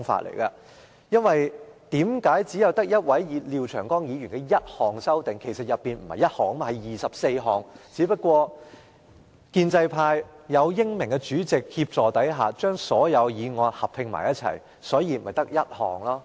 其實，在這項擬議決議案中，並不止1項修訂建議，而是有24項，只不過建制派在英明的主席協助下，把所有修訂建議合併，所以只有1項擬議決議案。